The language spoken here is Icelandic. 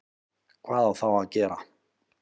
Hvað á þá að gera?